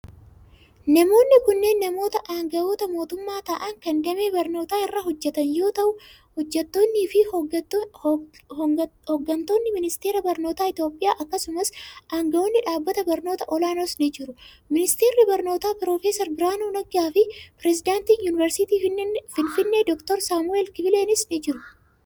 Namoonni kunneen, namoota aangawoota mootummaa ta'an kan damee barnootaa irra hojjatan yoo ta'u, hojjattoonni fi hooggantoonni ministeera barnootaa Itoophiyaa akkasumas aangawoonni dhaabbata barnootaa olaanoos ni jiru. Ministeerri barnootaa, Piroofeesar Birhaanuu Nagga fi pireezidantiin yuunivarsiitii finfinnee Doktar Saamu'eel Kifleenis ni jiru.